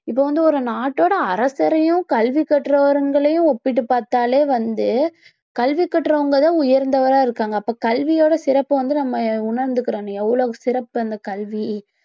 இப்ப வந்து ஒரு நாட்டோட அரசரையும் கல்வி கற்றவங்களையும் ஒப்பிட்டு பார்த்தாலே வந்து கல்வி கற்றவங்க தான் உயர்ந்தவராக இருக்காங்க அப்ப கல்வியோட சிறப்பை வந்து நம்ம உணர்ந்துக்கணும் எவ்வளவு சிறப்பு இந்த கல்வி